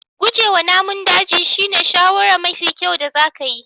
Guje wa namun daji shine shawarar mafi kyau da zaka yi.